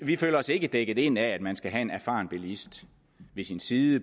vi føler os ikke dækket ind af at man skal have en erfaren bilist ved sin side